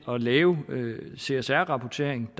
at lave en csr rapportering